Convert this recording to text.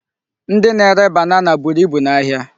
Ndị na-ere banana buru ibu n'ahịa.